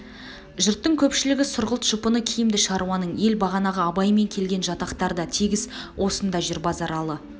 жұрттың көпшілігі сұрғылт жұпыны киімді шаруаның ел бағанағы абаймен келген жатақтар да тегіс осында жүр базаралы